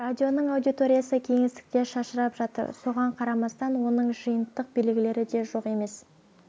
радионың аудиториясы кеңістікте шашырап жатыр соған қарамастан оның жиынтық белгілері де жоқ емес